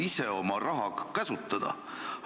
Miks ma ei saa ise oma raha käsutada?!